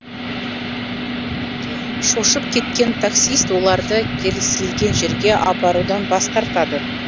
шошып кеткен таксист оларды келісілген жерге апарудан бас тартады